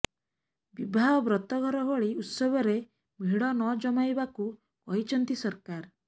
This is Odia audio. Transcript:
ବିବାହ ବ୍ରତଘର ଭଳି ଉତ୍ସବରେ ଭିଡ଼ ନଜମାଇବାକୁ କହିଛନ୍ତି ସରକାର